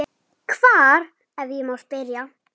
Hvar, ef ég má spyrja?